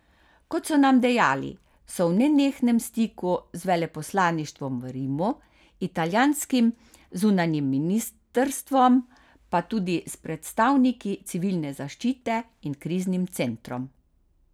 Kot so nam dejali, so v nenehnem stiku z veleposlaništvom v Rimu, italijanskim zunanjim ministrstvom, pa tudi s predstavniki civilne zaščite in kriznim centrom.